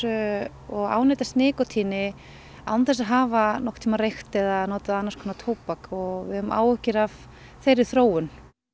og ánetjast nikótíni án þess að hafa nokkurn tímann reykt eða notað annars konar tóbak við höfum áhyggjur af þeirri þróun